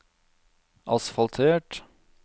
asfaltert